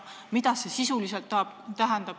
Mida see sisuliselt tähendab?